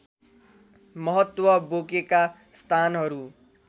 महत्व बोकेका स्थानहरू